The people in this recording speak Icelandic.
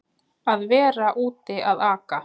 Að vera úti að aka